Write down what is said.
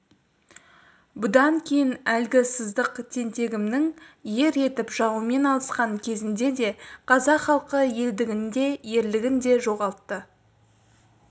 бұдан кейін әлгі сыздық тентегімнің ер жетіп жауымен алысқан кезінде де қазақ халқы елдігін де ерлігін де жоғалта